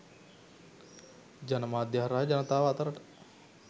ජනමාධ්‍ය හරහා ජනතාව අතරට